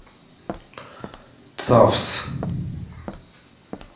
цавс